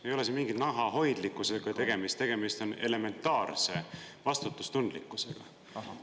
Ei ole siin mingi nahahoidlikkusega tegemist, tegemist on elementaarse vastutustundlikkusega.